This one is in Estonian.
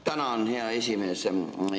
Tänan, hea esimees!